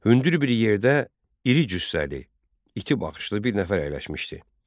Hündür bir yerdə iri cüssəli, iti baxışlı bir nəfər əyləşmişdi.